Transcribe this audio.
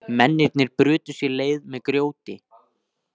Mennirnir brutu sér leið með grjóti